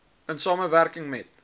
in samewerking met